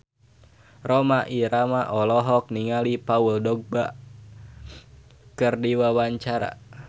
Rhoma Irama olohok ningali Paul Dogba keur diwawancara